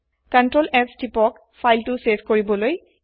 ctrls তিপক file save কৰিবলৈ